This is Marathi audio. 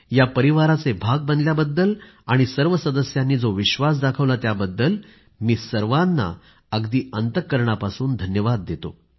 या परिवाराचे भाग बनल्याबद्दल आणि सर्व सदस्यांनी जो विश्वास दाखवला त्याबद्दल मी सर्वांना अगदी अंतःकरणापासून धन्यवाद देतो